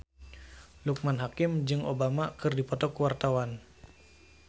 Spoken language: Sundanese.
Loekman Hakim jeung Obama keur dipoto ku wartawan